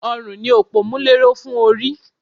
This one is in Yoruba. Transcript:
Ọrùn ni òpómúléró fún orí